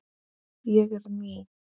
Ég er ný.